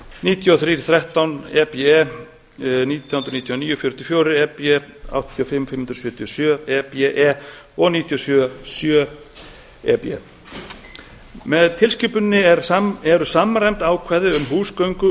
níutíu og þrjú þrettán e b nítján hundruð níutíu og níu fjörutíu og fjögur e b e áttatíu og fimm fimm hundruð sjötíu og sjö e b e og níutíu og sjö sjö e b með tilskipuninni eru samræmd ákvæði um húsgöngu